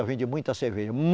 Eu vendi muita cerveja.